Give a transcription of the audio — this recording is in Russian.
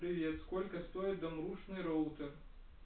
привет сколько стоит домрушний роутер